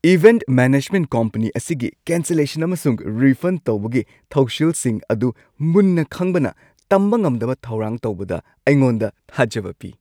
Event management company ꯑꯁꯤꯒꯤ cancellation ꯑꯃꯁꯨꯡ refund ꯇꯧꯕꯒꯤ ꯊꯧꯁꯤꯜꯁꯤꯡ ꯑꯗꯨ ꯃꯨꯟꯅ ꯈꯪꯕꯅ ꯇꯝꯕ ꯉꯝꯗꯕ ꯊꯧꯔꯥꯡ ꯇꯧꯕꯗ ꯑꯩꯉꯣꯟꯗ ꯊꯥꯖꯕ ꯄꯤ ꯫